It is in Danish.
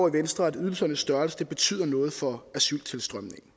i venstre at ydelsernes størrelse betyder noget for asyltilstrømningen